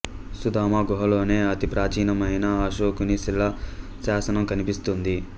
సుదామ గుహలోనే అతి ప్రాచీనమైన అశోకుని శిలా శాసనం కనిపిస్తుంది